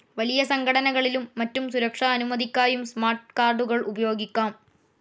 വലിയ സംഘടനകളിലും മറ്റും സുരക്ഷാ അനുമതിക്കായും സ്മാർട്ട്‌ കാർഡുകൾ ഉപയോഗിക്കാം.